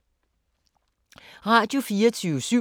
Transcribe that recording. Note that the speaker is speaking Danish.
Radio24syv